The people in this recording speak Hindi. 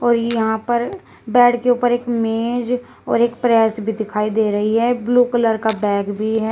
और यहां पर बेड के ऊपर एक मेज और एक प्रेस भी दिखाई दे रही है ब्ल्यू कलर का बैग भी है।